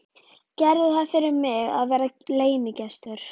Gerðu það fyrir mig að vera leynigestur.